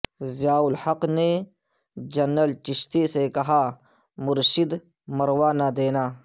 ضیاالحق نے جنرل چشتی سے کہا مرشد مروا نہ دینا